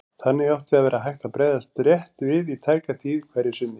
Þannig átti að vera hægt að bregðast rétt við í tæka tíð hverju sinni.